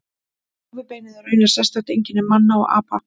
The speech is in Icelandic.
Rófubeinið er raunar sérstakt einkenni manna og apa.